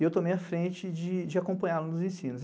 e eu tomei a frente de de acompanhá-lo nos ensinos.